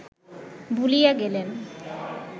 ভুলিয়া গেলেন